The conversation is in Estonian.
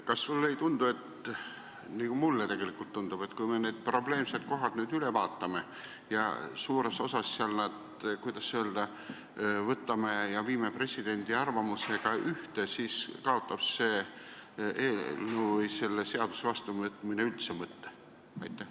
Kas sulle ei tundu, nagu mulle tegelikult tundub, et kui me need probleemsed kohad nüüd üle vaatame ja suures osas nad, kuidas öelda, presidendi arvamusega ühte viime, siis kaotab selle eelnõu või selle seaduse vastuvõtmine üldse mõtte?